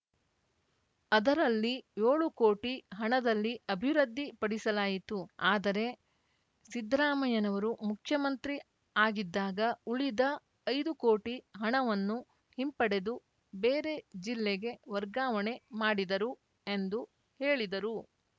ಅದರಲ್ಲಿ ಯೋಳು ಕೋಟಿ ಹಣದಲ್ಲಿ ಅಬಿವೃದ್ಧಿ ಪಡಿಸಲಾಯಿತು ಆದರೆ ಸಿದ್ದರಾಮಯ್ಯನವರು ಮುಖ್ಯಮಂತ್ರಿ ಆಗಿದ್ದಾಗ ಉಳಿದ ಐದು ಕೋಟಿ ಹಣವನ್ನು ಹಿಂಪಡೆದು ಬೇರೆ ಜಿಲ್ಲೆಗೆ ವರ್ಗಾವಣೆ ಮಾಡಿದರು ಎಂದು ಹೇಳಿದರು